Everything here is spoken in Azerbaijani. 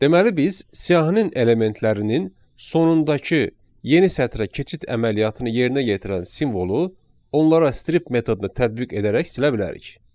Deməli biz siyahinin elementlərinin sonundakı yeni sətrə keçid əməliyyatını yerinə yetirən simvolu onlara strip metodunu tədbiq edərək silə bilərik.